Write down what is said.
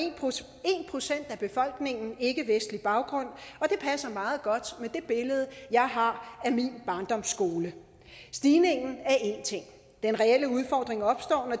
procent af befolkningen ikkevestlig baggrund og det passer meget godt med det billede jeg har min barndomsskole stigningen er en ting den reelle udfordring opstår